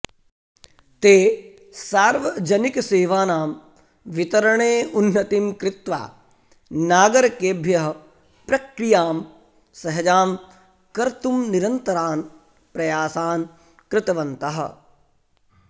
ते सार्वजनिकसेवानां वितरणे उन्नतिं कृत्वा नागरकेभ्यः प्रक्रियां सहजां कर्तुम् निरन्तरान् प्रयासान् कृतवन्तः